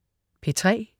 P3: